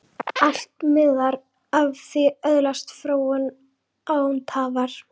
Allt miðar að því að öðlast fróun, án tafar.